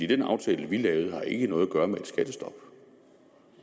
den aftale vi lavede har ikke noget at gøre med et skattestop